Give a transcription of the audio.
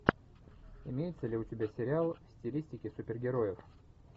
имеется ли у тебя сериал в стилистике супергероев